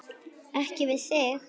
Ekki við þig.